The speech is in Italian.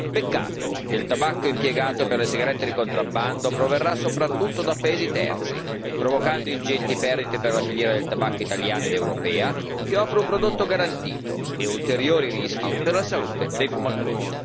Peccato che il tabacco impiegato per le sigarette di contrabbando proverrà soprattutto da paesi terzi, provocando ingenti perdite per la filiera del tabacco italiana ed europea, che offre un prodotto garantito, e ulteriori rischi per la salute dei fumatori.